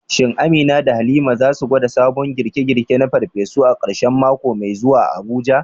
Shin Amina da Halima za su gwada sabon girke-girke na farfesu a karshen mako mai zuwa a Abuja?